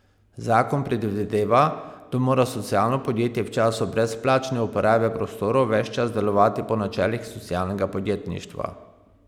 Zakon predvideva, da mora socialno podjetje v času brezplačne uporabe prostorov ves čas delovati po načelih socialnega podjetništva.